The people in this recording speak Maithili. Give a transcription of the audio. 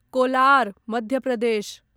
कोलार मध्य प्रदेश